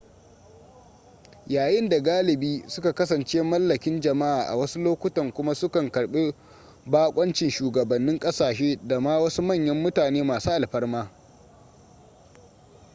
yayin da galibi suka kasance mallakin jama'a a wasu lokutan kuma su kan karbi bakoncin shugabannin kasashe da ma wasu manyan mutane masu alfarma